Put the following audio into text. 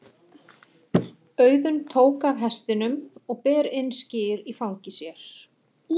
Auðunn tók af hestinum og ber inn skyr í fangi sér.